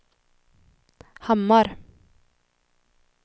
Hammar